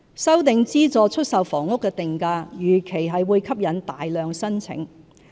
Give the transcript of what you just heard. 修訂資助出售房屋的定價，預期會吸引大量申請。